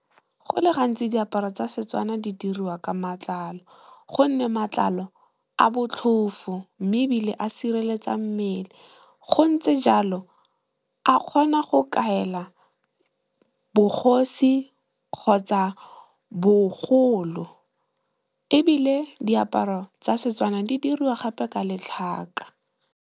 Go le gantsi diaparo tsa Setswana di diriwa ka matlalo gonne, matlalo a botlhofo. Mme, ebile a sireletsa mmele go ntse jalo, a kgona go kaela bogosi kgotsa, bogolo ebile diaparo tsa setswana di diriwa gape ka letlhaka.